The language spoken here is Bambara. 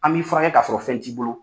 An b'i fura kɛ ka sɔrɔ fɛn t'i bolo.